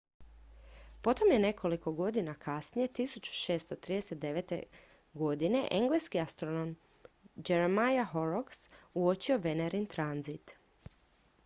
potom je nekoliko godina kasnije 1639 engleski astronom jeremiah horrocks uočio venerin tranzit